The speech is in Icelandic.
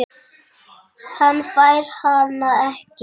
Hann fær hana ekki.